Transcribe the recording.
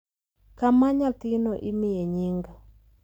kama nyathino imiye nying.